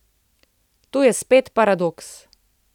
Tu je spet paradoks.